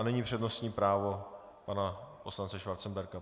A nyní přednostní právo pana poslance Schwarzenberga.